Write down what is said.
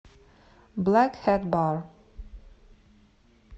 блэк хэт бар